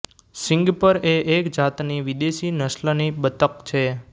સીંગપર એ એક જાતની વિદેશી નસ્લની બતક છે